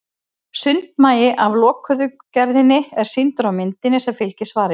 Sundmagi af lokuðu gerðinni er sýndur á myndinni sem fylgir svarinu.